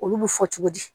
Olu bɛ fɔ cogo di